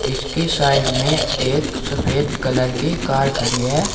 जिसके साइड में एक सफेद कलर की कार खड़ी है।